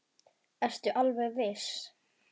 Ertu alveg viss?